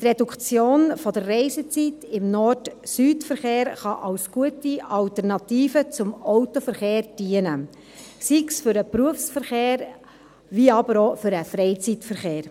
Die Reduktion der Reisezeit im Nord-Süd-Verkehr kann als gute Alternative zum Autoverkehr dienen, sei es für den Berufsverkehr, aber auch für den Freizeitverkehr.